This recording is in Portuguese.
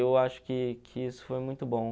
E eu acho que que isso foi muito bom.